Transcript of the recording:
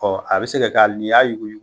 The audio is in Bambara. Ɔ a bɛ se ka kɛ hali ni y'a yuguyugu.